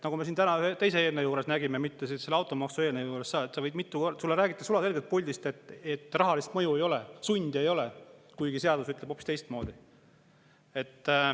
Nagu me siin täna nägime ühe teise eelnõu puhul, mitte automaksu eelnõu puhul: puldist räägitakse sulaselgelt, et rahalist mõju ei ole, sundi ei ole, kuigi seadus ütleb hoopis teistmoodi.